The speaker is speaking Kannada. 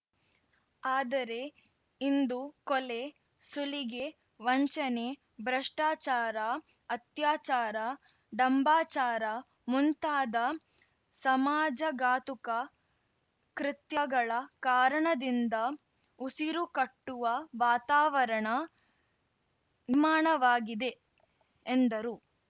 ಆದರೆ ಇಂದು ಕೊಲೆ ಸುಲಿಗೆ ವಂಚನೆ ಭ್ರಷ್ಟಾಚಾರ ಅತ್ಯಾಚಾರ ಢಂಬಾಚಾರ ಮುಂತಾದ ಸಮಾಜಘಾತುಕ ಕೃತ್ಯಗಳ ಕಾರಣದಿಂದ ಉಸಿರುಕಟ್ಟುವ ವಾತಾವರಣ ನಿರ್ಮಾಣವಾಗಿದೆ ಎಂದರು